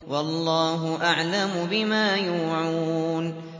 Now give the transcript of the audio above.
وَاللَّهُ أَعْلَمُ بِمَا يُوعُونَ